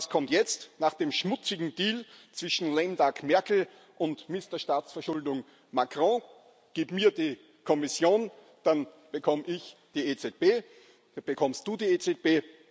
Und was kommt jetzt, nach dem schmutzigen Deal zwischen lame duck Merkel und Mister Staatsverschuldung Macron Gib´ mir die Kommission, dann bekomm´ ich die EZB, dann bekommst du die EZB.